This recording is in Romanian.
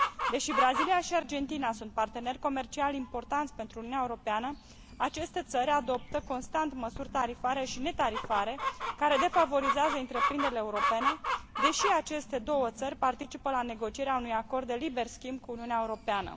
Deși Brazilia și Argentina sunt parteneri comerciali importanți pentru Uniunea Europeană, aceste țări adoptă constant măsuri tarifare și netarifare care defavorizează întreprinderile europene, deși aceste două țări participă la negocierea unui acord de liber schimb cu Uniunea Europeană.